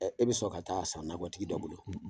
E bi sɔn ka taa san nakɔtigi da bolo ?